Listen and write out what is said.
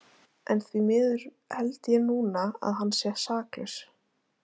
En því miður held ég núna að hann sé saklaus.